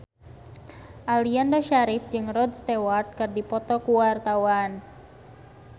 Aliando Syarif jeung Rod Stewart keur dipoto ku wartawan